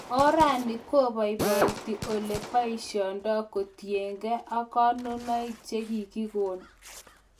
orani kobaibaite olegi baisiendo kotiengi konunoig chegigigon